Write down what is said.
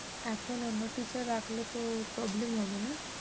এখন অন্য teacher রাখলে তো problem হবে না?